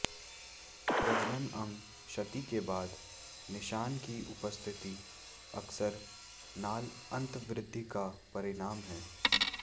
प्रजनन अंग क्षति के बाद निशान की उपस्थिति अक्सर नाल अंतर्वृद्धि का परिणाम है